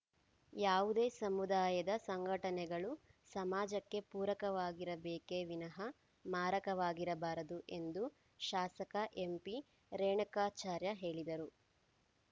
ಯಾವುದೇ ಸಮುದಾಯದ ಸಂಘಟನೆಗಳು ಸಮಾಜಕ್ಕೆ ಪೂರಕವಾಗಿರಬೇಕೇ ವಿನಃ ಮಾರಕವಾಗಿರಬಾರದು ಎಂದು ಶಾಸಕ ಎಂಪಿರೇಣಕಾಚಾರ್ಯ ಹೇಳಿದರು